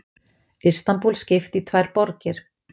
Istanbúl skipt í tvær borgir